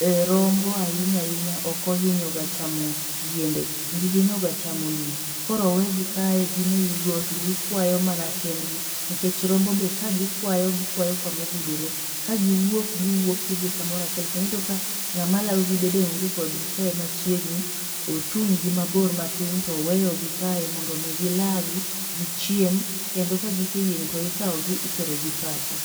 um rombo ahinya ahinya ok ohinyoga chamo, yiende. Gihinyo ga chamo lum, koro owegi kae gin ewi got gikwayo mana kendgi nikech rombo be kagikwayo gikwayo kamogudore, ka giwuok giwuok gidhi kamora achiel kendo iyudo ka ng'ama lago gi bede onge kodgi kae machiegni, ochung' gi mabor matin toweyogi kae mondo mi gilagi, gichiem kendo ka giseyieng' to ikawgi itero gi pacho